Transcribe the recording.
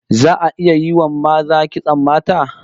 Za'a iya yi wa maza kitson mata?